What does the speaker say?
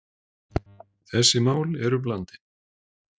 Þessi mál eru blandin.